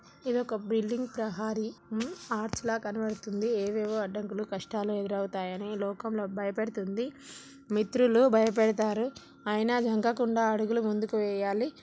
ఇది ఒక బిల్డింగ్ ప్రహరి ఆర్చ్ లా కనబడుతోంది ఏవేవో అడ్డంకులు కష్టాలు ఎదురవుతాయని ఈ లోకంలో భయపడుతుంది మిత్రులు భయపెడతారు అయినా జనకకుండా అడుగులు ముందుకు వేయాలి.